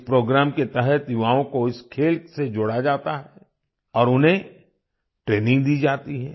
इस प्रोग्राम के तहत युवाओं को इस खेल से जोड़ा जाता है और उन्हें ट्रेनिंग दी जाती है